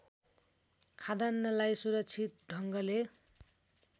खाद्यान्नलाई सुरक्षित ढङ्गले